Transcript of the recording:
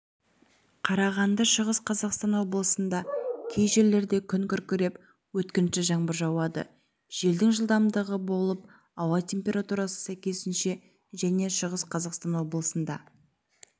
қарағанды шығыс қазақстан облысында кей жерлерде күн күркіреп өткінші жаңбыр жауады желдің жылдамдығы болып ауа температурасы сәйкесінше және шығыс қазақстан облысында